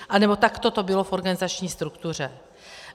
Anebo takto to bylo v organizační struktuře.